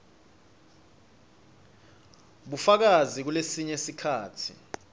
bufakazi kulesinye sikhatsi